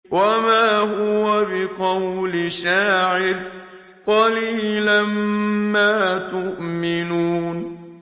وَمَا هُوَ بِقَوْلِ شَاعِرٍ ۚ قَلِيلًا مَّا تُؤْمِنُونَ